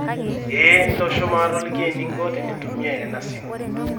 eeh, ntosho maatoliki eninko tenintumia ena simu